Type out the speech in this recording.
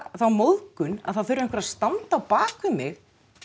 þá móðgun að það þurfi einhver að standa á bak við mig